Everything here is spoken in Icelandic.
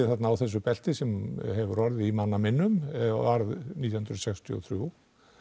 þarna á þessu belti sem hefur orðið í manna minnum varð nítján hundruð sextíu og þrjú